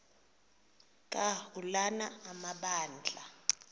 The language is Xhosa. ka ulana amabandla